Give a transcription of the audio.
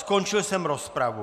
Skončil jsem rozpravu.